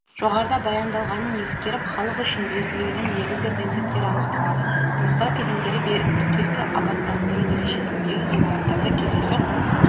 жоғарыда баяндалғанын ескеріп халық үшін белгілеудің негізгі принциптері анықталады анықтау кезеңдері біркелкі аббаттандыру дәрежесіндегі ғимараттарды кездейсоқ